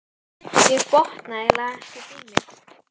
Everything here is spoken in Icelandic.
Ég botna eiginlega ekkert í mér.